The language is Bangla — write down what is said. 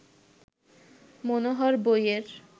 মনোহর বইয়ের